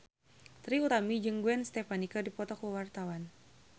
Trie Utami jeung Gwen Stefani keur dipoto ku wartawan